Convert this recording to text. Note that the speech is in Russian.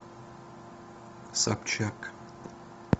собчак